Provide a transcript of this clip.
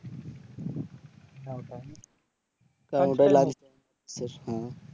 এর সময়